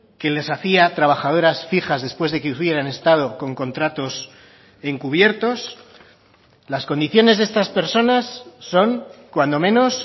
que les hacía trabajadoras fijas después de que hubieran estado con contratos encubiertos las condiciones de estas personas son cuando menos